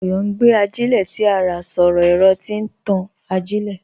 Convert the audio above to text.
Ayọ̀ n gbé àjílẹ̀ tí à rá sọ̀rọ̀ ẹ̀rọ̀ tí n tàn àjílẹ̀.